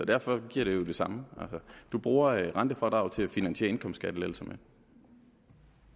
derfor giver det jo det samme man bruger rentefradraget til at finansiere skattelettelser